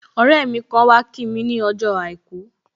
Ọrẹ mi kan wá kí mi ni ọjọ́ àìkú